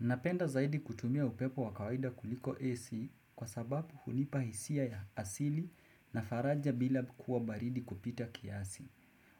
Napenda zaidi kutumia upepo wa kawaida kuliko AC kwa sababu hunipa hisia ya asili na faraja bila kuwa baridi kupita kiasi.